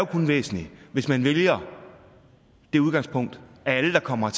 kun væsentlig hvis man vælger det udgangspunkt at alle der kommer